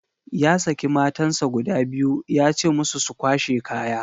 Ya saki matansa guda biyu ya ce musu su kwashe kaya.